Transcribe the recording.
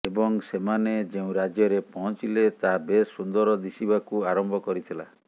ଏବଂ ସେମାନେ ଯେଉଁ ରାଜ୍ୟରେ ପହଞ୍ଚିଲେ ତାହା ବେଶ୍ ସୁନ୍ଦର ଦିଶିବାକୁ ଆରମ୍ଭ କରିଥିଲା